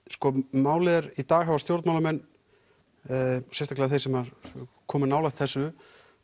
málið er í dag hafa stjórnmálamenn sérstaklega þeir sem komu nálægt þessu